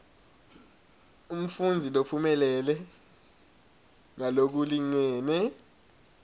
umfundzi lophumelele ngalokulingene